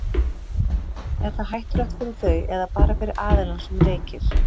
Er það hættulegt fyrir þau eða bara fyrir aðilann sem reykir?